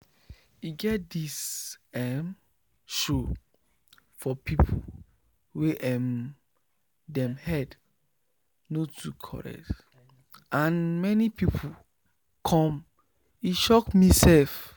e get this emm show for people wey emm dem head no too correct and many people come e shock me sef